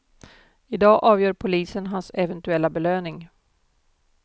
I dag avgör polisen hans eventuella belöning.